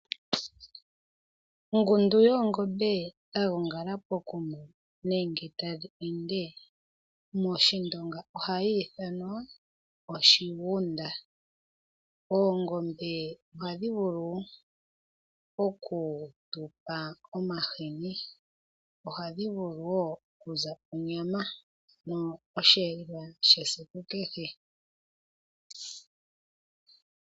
Ongundu yoongombe yagongala pokuma nenge tadhi ende mOshindonga ohadhi ithanwa oshigunda. Oongombe ohadhi vulu okutupa omahini, ohadhi vulu wo okutupa onyama, osheelelwa shesiku kehe.